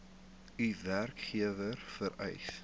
u werkgewer vereis